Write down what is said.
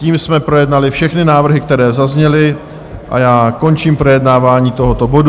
Tím jsme projednali všechny návrhy, které zazněly, a já končím projednávání tohoto bodu.